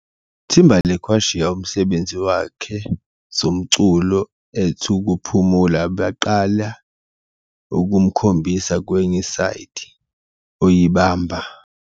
Timberlake washiya umsebenzi wakhe zomculo at ukuphumula baqale ukukhombisa kwenye side - oyibamba.